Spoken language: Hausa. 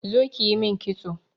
Zo ƙi ƴi min ƙitso.